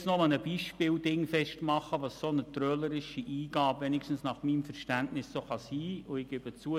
Ich möchte an einem Beispiel festmachen, was nach meinem Verständnis eine trölerische Eingabe sein und bewirken kann.